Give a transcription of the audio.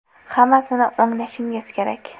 Hammasini o‘nglashingiz kerak.